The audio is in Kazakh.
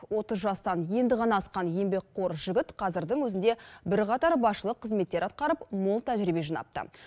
отыз жастан енді ғана асқан еңбекқор жігіт қазірдің өзінде бірқатар басшылық қызметтер атқарып мол тәжірибе жинапты